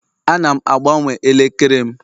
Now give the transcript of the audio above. Ana m agbanwe elekere m